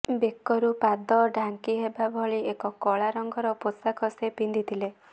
ବେକରୁ ପାଦ ଢାଙ୍କି ହେବା ଭଳି ଏକ କଳା ରଙ୍ଗର ପୋଷାକ ସେ ପିନ୍ଧିଥିଲେ